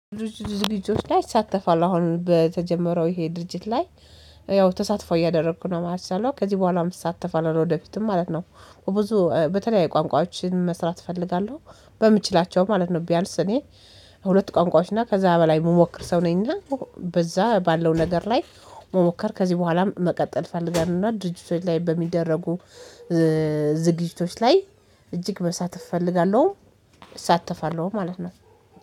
ዝግጁዎች ላይ እሳተፋለው አሁን በተጀመረው ይሄ ድርጅት ላይ ያው ተሳትፎ እያደረኩ ነው ማለት ያለው ከዚህ በኋላም እሳተፋለሁ ለወደፊትም ማለት ነው። ብዙ በተለያዩ ቋንቋዎችን መስራት እፈልጋለሁ። በምችላቸው ማለት ነው ቢያንስ እኔ ሁለት ቋንቋዎች እና ከዛ በላይ የምሞክር ሰው ነኝ እና። በዛ ባለው ነገር ላይ መሞከር ከዚህ በኋላም መቀጠል ፈልጋለሁና ድርጅቶች ላይ በሚደረጉ ዝግጅቶች ላይ እጅግ በሳተፍ እፈልጋለሁ። እሳተፋለሁ ማለት ነው